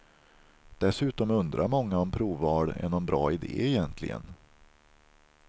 Dessutom undrar många om provval är någon bra ide egentligen.